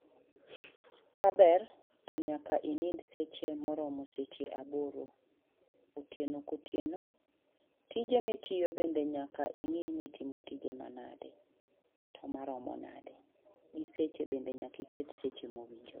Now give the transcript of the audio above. Ka ber to nyanka i nindi seche ma romo seche aboro otieno ka otieno tije ma itiyo nyaka i ngi ni itimo tije ma nade to ma romo nade gi seche bende nyaka i kete seche ma owinjore